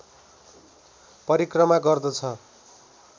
परिक्रमा गर्दछ